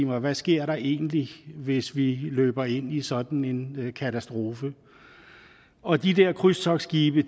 mig hvad sker der egentlig hvis vi løber ind i sådan en katastrofe og de der krydstogtskibe